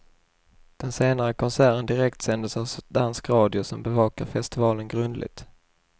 Den senare konserten direktsändes av dansk radio, som bevakar festivalen grundligt.